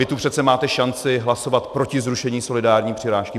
Vy tu přece máte šanci hlasovat proti zrušení solidární přirážky.